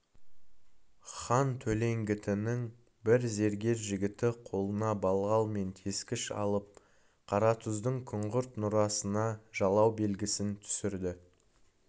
хан төлеңгітінің бір зергер жігіті қолына балға мен тескіш алып қаратұздың күңгірт нұрасына жалау белгісін түсірді